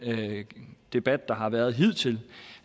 debat der har været hidtil